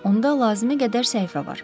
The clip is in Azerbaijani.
Onda lazımi qədər səhifə var.